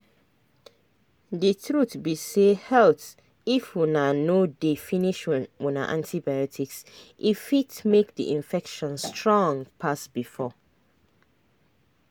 the truth be sayhalt if una no dey finish una antibiotics e fit make the infection strong pass before.